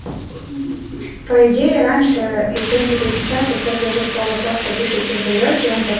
по идее раньше и в принципе сейчас с для жидкого просто пишите сдаёте